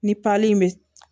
Ni in bɛ